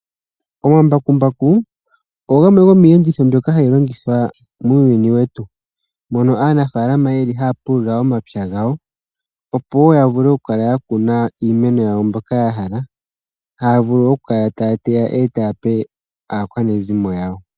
Omambakumbaku ogo gamwe gomiiyenditho mbyoka hayi longithwa muuyuni wetu. Aanafaalama ohaya pulula omapya gawo opo ya kune iimeno yawo mbi ya hala, haya vulu oku kala ta ya teya e ta ya pe aakwanezimo yawo.